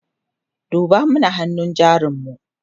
duba mana hannun jarin mu!